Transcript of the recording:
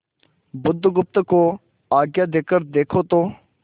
बुधगुप्त को आज्ञा देकर देखो तो